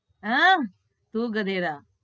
આહ તું ગધેડા